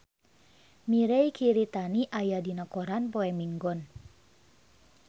Mirei Kiritani aya dina koran poe Minggon